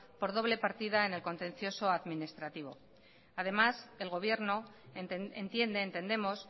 por doble partida en el contencioso administrativo además el gobierno entiende entendemos